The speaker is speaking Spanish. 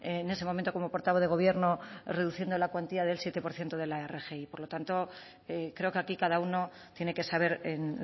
en ese momento como portavoz de gobierno reduciendo la cuantía del siete por ciento de la rgi por lo tanto creo que aquí cada uno tiene que saber en